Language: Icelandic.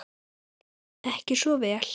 Ekki svo vel?